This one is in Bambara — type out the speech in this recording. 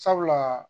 Sabula